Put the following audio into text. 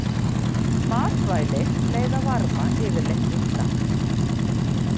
Matvæli leiða varma yfirleitt illa.